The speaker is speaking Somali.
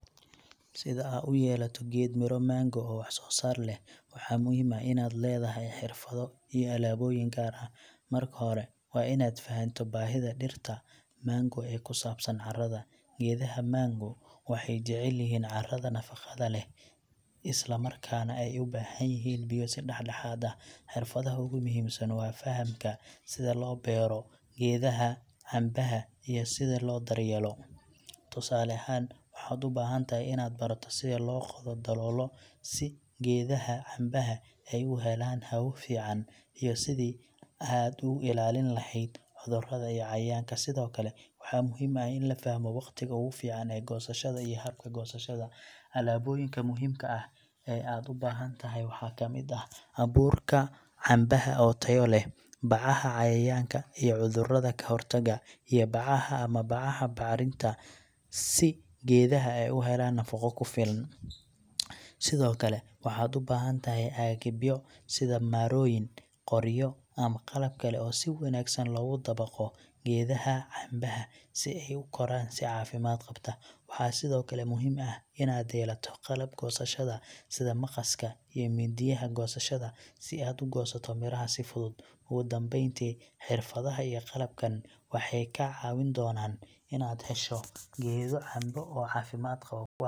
Sida aa u yeelato geed miro mango oo wax soo saar leh, waxaa muhiim ah inaad leedahay xirfado iyo alaabooyin gaar ah. Marka hore, waa inaad fahanto baahida dhirta mango ee ku saabsan carrada. Geedaha mango waxay jecel yihiin carrada nafaqada leh, isla markaana ay u baahan yihiin biyo si dhexdhexaad ah. Xirfadaha ugu muhiimsan waa fahamka sida loo beero geedaha cambaha iyo sida loo daryeelo. Tusaale ahaan, waxaad u baahan tahay inaad barato sida loo qodo daloolo si geedaha cambaha ay u helaan hawo fiican iyo sidii aad ugu ilaalin lahayd cudurada iyo cayayaanka. Sidoo kale, waxaa muhiim ah in la fahmo waqtiga ugu fiican ee goosashada iyo habka goosashada. Alaabooyinka muhiimka ah ee aad u baahan tahay waxaa ka mid ah abuurka cambaha oo tayo leh, bacaha cayayaanka iyo cudurada ka hortaga, iyo bacaha ama bacaha bacrinta si geedaha ay u helaan nafaqo ku filan. Sidoo kale, waxaad u baahan tahay agabyo sida marooyin, qoryo ama qalab kale oo si wanaagsan loogu dabaqo geedaha cambaha si ay u koraan si caafimaad qabta. Waxaa sidoo kale muhiim ah inaad yeelato qalab goosashada, sida maqaska iyo mindiyaha goosashada, si aad u goosato miraha si fudud. Ugu dambeyntii, xirfadaha iyo qalabkan waxay kaa caawin doonaan inaad hesho geedo cambo oo caafimaad qabo.